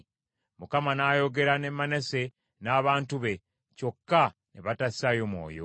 Mukama n’ayogera ne Manase n’abantu be, kyokka ne batassaayo mwoyo.